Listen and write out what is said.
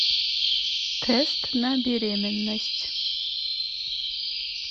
тест на беременность